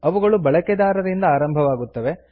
ಇವುಗಳು ಬಳಕೆದಾರರಿಂದ ಆರಂಭವಾಗುತ್ತವೆ